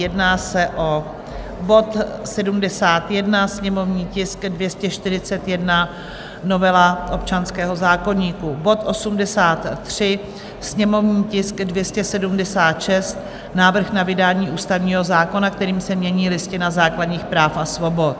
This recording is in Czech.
Jedná se o bod 71, sněmovní tisk 241, novela občanského zákoníku; bod 83, sněmovní tisk 276, návrh na vydání ústavního zákona, kterým se mění Listina základních práv a svobod.